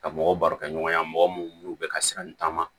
Ka mɔgɔw baro kɛ ɲɔgɔn ye mɔgɔ minnu n'u bɛ ka siran taama